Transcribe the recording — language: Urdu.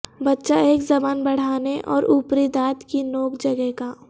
بچہ ایک زبان بڑھانے اور اوپری دانت کی نوک جگہ گا